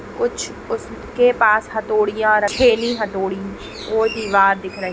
कुछ उसके पास हथौड़ियाँ रखी-- हथौड़ी को दीवार दिख रही--